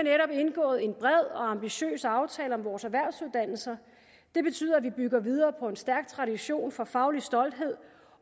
indgået en bred og ambitiøs aftale om vores erhvervsuddannelser det betyder at vi bygger videre på en stærk tradition for faglig stolthed